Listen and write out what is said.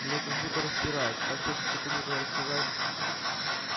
меня как будто распирает так хочется кому-то рассказать